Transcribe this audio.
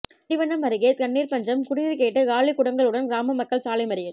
திண்டிவனம் அருகே தண்ணீர் பஞ்சம் குடிநீர் கேட்டு காலிகுடங்களுடன் கிராம மக்கள் சாலை மறியல்